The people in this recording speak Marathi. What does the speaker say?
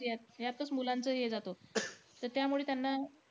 ह्यातचं मुलांचं हे जातो. त त्यामुळं त्यांना,